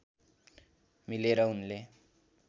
मिलेर उनले